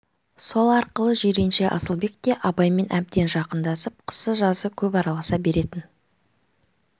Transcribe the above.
сол арқылы жиренше асылбек те абаймен әбден жақындасып қысы-жазы көп араласа беретін